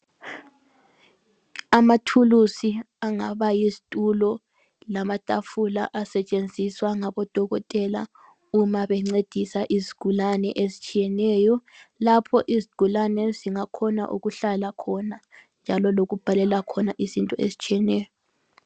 Amathulusi angaba yizitulo lamatafula asetshenziswa ngabodokotela uma bencedisa izigulane ezitshiyeneyo, lapho izigulane ezingakhona ukuhlala khona njalo lokubhalela khona izinto ezitshiyeneyo.